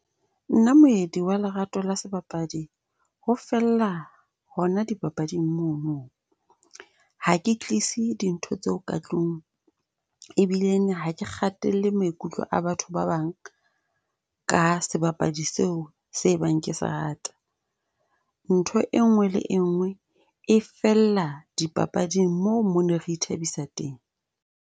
Na moemedi wa lerato la sebapadi ho fella hona di papading mono. Ha ke tlise dintho tseo ka tlung, ebileng ha ke kgatelle maikutlo a batho ba bang, ka sebapadi seo se e bang ke sa rata. Ntho enngwe le enngwe e fella dipapading, moo mo ne re ithabisa teng.